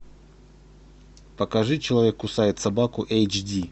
покажи человек кусает собаку эйч ди